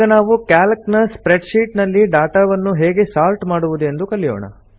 ಈಗ ನಾವು ಕ್ಯಾಲ್ಕ್ ನ ಸ್ಪ್ರೆಡ್ ಶೀಟ್ ನಲ್ಲಿ ಡಾಟಾವನ್ನು ಹೇಗೆ ಸೋರ್ಟ್ ಮಾಡುವುದು ಎಂದು ಕಲಿಯೋಣ